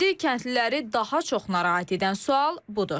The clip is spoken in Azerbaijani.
İndi kəndliləri daha çox narahat edən sual budur.